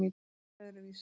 Ég er öðruvísi.